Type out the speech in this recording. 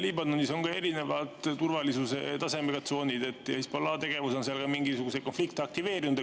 Liibanonis on erineva turvalisuse tasemega tsoonid ja Hezbollahi tegevus on seal ka mingisuguseid konflikte aktiveerinud.